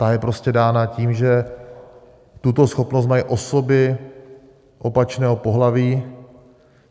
Ta je prostě dána tím, že tuto schopnost mají osoby opačného pohlaví.